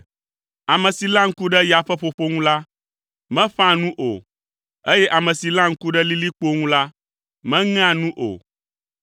Ame si léa ŋku ɖe ya ƒe ƒoƒo ŋu la, meƒãa nu o eye ame si léa ŋku ɖe lilikpowo ŋu la, meŋea nu o.